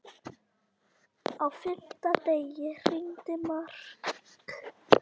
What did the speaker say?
Á fimmta degi hringdi Mark.